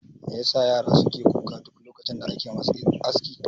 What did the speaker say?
Me yasa yara suke kuka duk lokacin da ake musu aski?